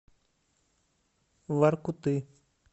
воркуты